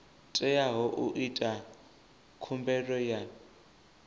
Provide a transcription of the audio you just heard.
teaho u ita khumbelo ya